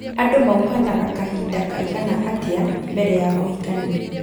Andũ mauhanaga kahinda kaigana atĩa mbere ya kuhikania